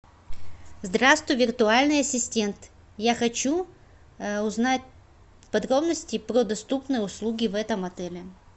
здравствуй виртуальный ассистент я хочу узнать подробности про доступные услуги в этом отеле